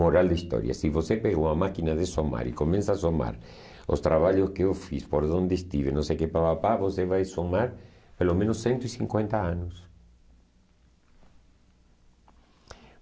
Moral da história, se você pegou uma máquina de somar e começa a somar os trabalhos que eu fiz, por onde estive, não sei o que pá pá pá, você vai somar pelo menos cento e cinquenta anos.